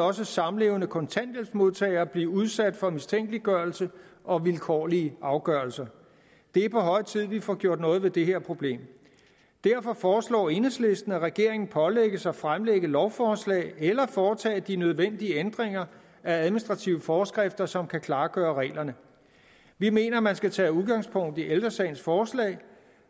også samlevende kontanthjælpsmodtagere blive udsat for mistænkeliggørelse og vilkårlige afgørelser det er på høje tid vi får gjort noget ved det her problem derfor foreslår enhedslisten at regeringen pålægges at fremsætte lovforslag eller foretage de nødvendige ændringer af administrative forskrifter som kan klargøre reglerne vi mener man skal tage udgangspunkt i ældre sagens forslag